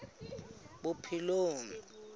bophelong